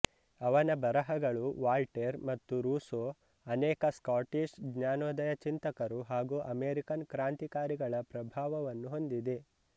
ಅವನ ಬರಹಗಳು ವಾಲ್ಟೇರ್ ಮತ್ತು ರೂಸೋ ಅನೇಕ ಸ್ಕಾಟಿಷ್ ಜ್ಞಾನೋದಯ ಚಿಂತಕರು ಹಾಗೂ ಅಮೆರಿಕನ್ ಕ್ರಾಂತಿಕಾರಿಗಳ ಪ್ರಭಾವವನ್ನು ಹೊಂದಿದೆ